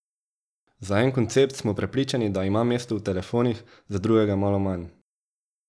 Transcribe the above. Za en koncept smo prepričani, da ima mesto v telefonih, za drugega malo manj.